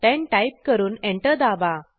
10 type करून enter दाबा